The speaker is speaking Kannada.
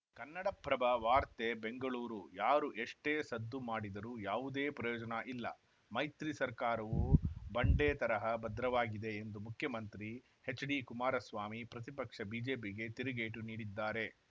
ಕನ್ನಡಪ್ರಭ ವಾರ್ತೆ ಬೆಂಗಳೂರು ಯಾರು ಎಷ್ಟೇ ಸದ್ದು ಮಾಡಿದರೂ ಯಾವುದೇ ಪ್ರಯೋಜನ ಇಲ್ಲ ಮೈತ್ರಿ ಸರ್ಕಾರವು ಬಂಡೆ ತರಹ ಭದ್ರವಾಗಿದೆ ಎಂದು ಮುಖ್ಯಮಂತ್ರಿ ಎಚ್‌ಡಿಕುಮಾರಸ್ವಾಮಿ ಪ್ರತಿಪಕ್ಷ ಬಿಜೆಪಿಗೆ ತಿರುಗೇಟು ನೀಡಿದ್ದಾರೆ